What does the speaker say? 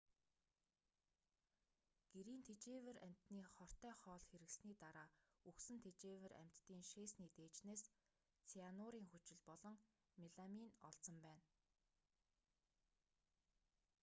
гэрийн тэжээвэр амьтны хортой хоол хэрэглэсний дараа үхсэн тэжээвэр амьтдын шээсний дээжнээс цианурын хүчил болон меламин олдсон байна